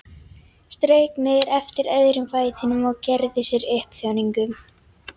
Strauk niður eftir öðrum fætinum og gerði sér upp þjáningu.